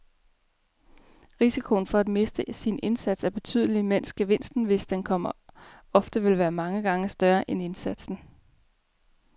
Risikoen for at miste sin indsats er betydelig, mens gevinsten, hvis den kommer, ofte vil være mange gange større end indsatsen.